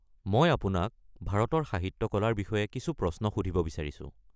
মই আপোনাক ভাৰতৰ সাহিত্য কলাৰ বিষয়ে কিছু প্ৰশ্ন সুধিব বিচাৰিছো।